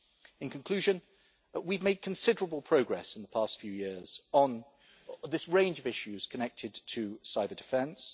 In conclusion, we've made considerable progress in the past few years on this range of issues connected to cyber-defence.